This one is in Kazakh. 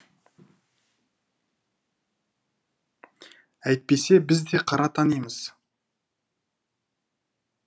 әйтпесе біз де қара танимыз